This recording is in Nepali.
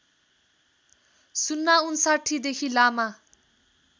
०५९ देखि लामा